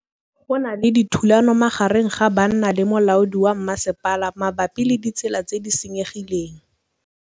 Go na le thulanô magareng ga banna le molaodi wa masepala mabapi le ditsela tse di senyegileng.